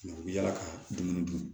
u bɛ yala ka dumuni dun